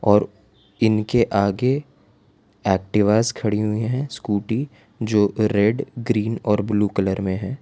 और इनके आगे एक्टिवास खड़ी हुई है स्कूटी जो रेड ग्रीन और ब्लू कलर में है।